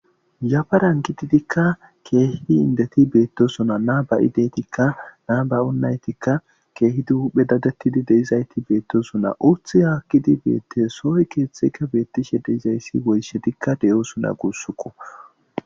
Yabaran kididikka keehidi indeti beettosuna naaba7i deytikka naa bay7unaytikka keehidi hphe dadettidi deizayti beettosuna urthi haakkidi beette sohoy keeththekka beettishe deizayssi woyshe dikka deyoo suna guussuku.